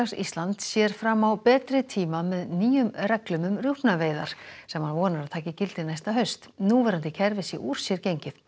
Íslands sér fram á betri tíma með nýjum reglum um rjúpnaveiðar sem hann vonar að taki gildi næsta haust núverandi kerfi sé úr sér gengið